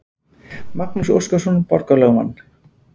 Magnús Óskarsson borgarlögmann.